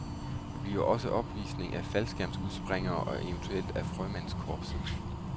Der bliver også opvisning af faldskærmsudspringere og eventuelt af frømandskorpset.